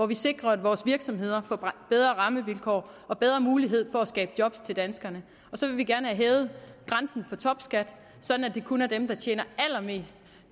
vi sikrer at vores virksomheder får bedre rammevilkår og bedre mulighed for at skabe job til danskerne og så vil vi gerne have hævet grænsen for topskat sådan at det kun er dem der tjener allermest